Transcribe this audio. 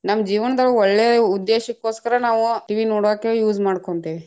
ನಮ್ಮ ಜೀವನದೊಳಗ ಒಳ್ಳೆ ಉದ್ದೇಶಕ್ಕೋಸ್ಕರ ನಾವು, TV ನೋಡಾಕ use ಮಾಡ್ಕೊಂತೀವಿ.